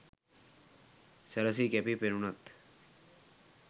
සැරැසී කැපී පෙනුණත්